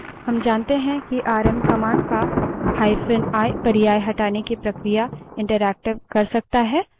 rm जानते हैं कि आरएम command का hyphen i पर्याय हटाने की प्रक्रिया interactive कर सकता है